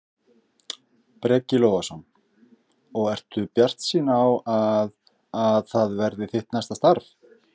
Breki Logason: Og ertu bjartsýn á að, að það verði þitt næsta starf?